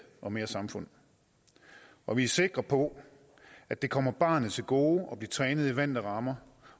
og mere samfund og vi er sikre på at det kommer barnet til gode at blive trænet i vante rammer